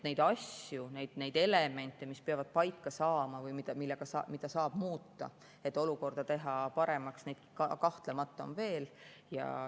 Neid asju, neid elemente, mis peavad paika saama või mida saab muuta, et teha olukorda paremaks, on kahtlemata veel.